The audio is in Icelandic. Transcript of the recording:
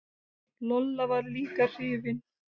Lolla var líka hrifin.